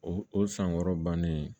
O o san wɔɔrɔ bannen